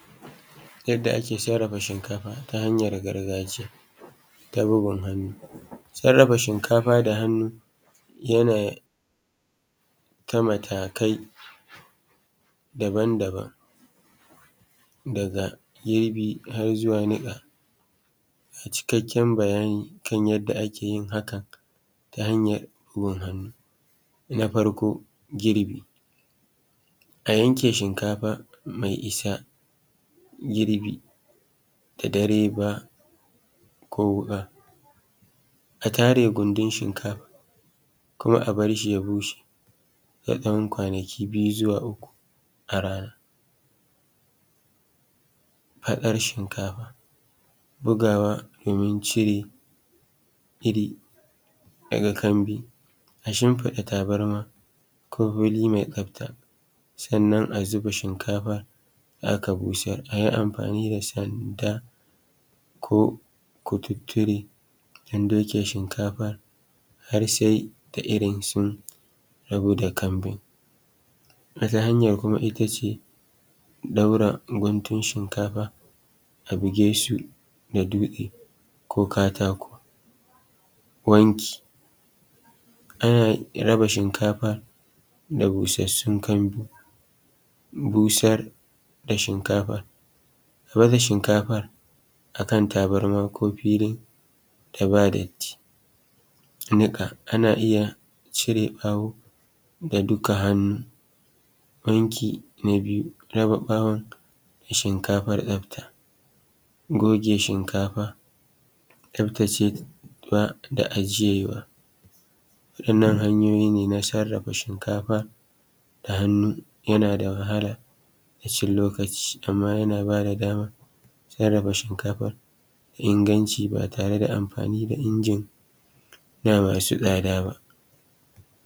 Yadda ake sarrafa shinkafa amma ta hanyar gargajiya ta gumin hannu. Sarrafa shinkafar da hannu yana da matakai daban-daban daga girbi har zuwa niƙa. Ga cikakken bayanin yadda ake yin hakan ta hanyar gumin hannu. Na farko girbi, a yanke shinkafa mai isa girbi da dare ba ko wuƙa a tare gundun Shinkafar kuma a bar shi ya bushe na ɗan kwanaki biyu zuwa uku a rana. Hakar shinkafa bugawa cire iri daga kanbi, a shinfiɗa tabarma ko wuri mai tsafta. Sannan a zuba shimkafa da aka busar a yi amfani da sanda ko kututture don doke shinkafar har sai da irin sun rabu da kanbin. Wata hanya kuma ita ce ɗaura gutun shinkafar a bugesu da dutse ko katako. Wanki ana raba shinkafa da busassun a busar da shinkafar a ɗaura shikafar a kan tabarma ko fili da babu datti. Niƙa ana iya cire ɓawo da dukka hannu .wanki na biyu na yi wa shinkafa tsafta goge shinkafa tsaftace ta da ajiyawa. Wannan hanyoyi ne na sarrafa shinkafa ta hannu yan ada wahala da cin lokaci amma yana ba da daman sarrafa shinkafa mak inganci ba tare da amfani da injina masu tsada ba.